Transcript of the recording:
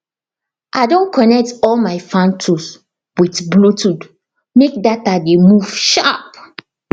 i don connect all my farm tools with bluetooth make data dey move sharp